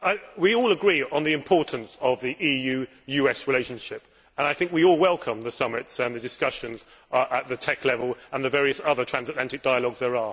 We all agree on the importance of the EU US relationship and I think we all welcome the summits and discussions at the TEC level and the various other transatlantic dialogues.